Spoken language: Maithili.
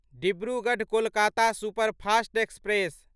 Dibrugarh Kolkata superfast express